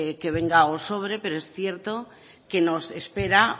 que venga o sobre pero es cierto que no espera